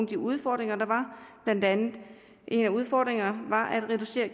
de udfordringer der var en af udfordringerne var at reducere